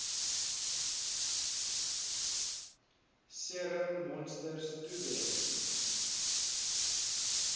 serum monsters toewens